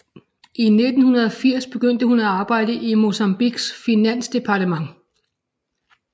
I 1980 begyndte hun at arbejde i Mozambiques finansdepartement